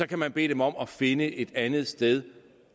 kan man bede dem om at finde et andet sted